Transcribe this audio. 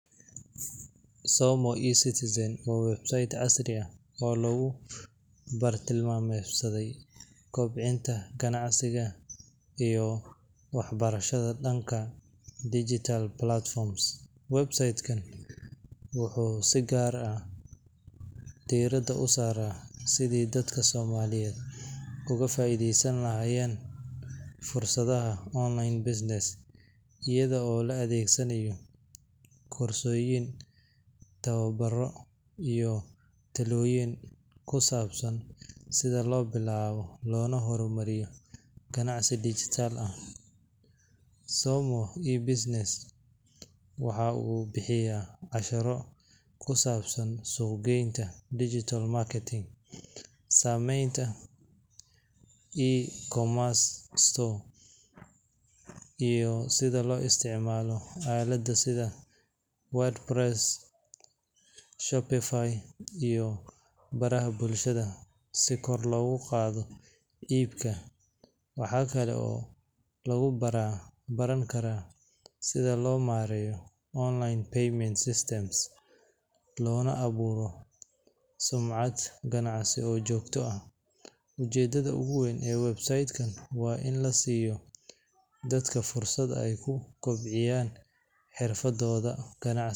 Somo iyo citizen oo sayt casri aah oo lagu bartilmameysaday kobcinta kanacsika iyo waxbarashada danka digtalplatform websaytgan waxu si kaar aah derada u Sarah sethi dadka somaliyet UGA faitheysan lahayan fursadaha online business eyado la adegsanayo korsoyin tawabaro iyo taloyin kusabsan setha lobilawoh lona hormariyih, qanacsi digital aah somo iyo business waxa oo bixiyah cashiro kusabsan suqgeynta digital marketing iyo ecomers store , iyo setha lo isticmaloh alada setha wordepress iyo baraga bulshada si kor lagu Qathoh ibka waxkali oo lagu bartah setha lo mareeyoh online payment system lona abuurtoh suncat kanacsi oo joktah aah u jeedarha guweyn ee wbsaytkan wa in lasiyoh dadka fursad ay kukabciyan fursadotha kanacasi.